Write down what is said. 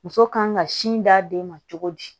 Muso kan ka sin d'a den ma cogo di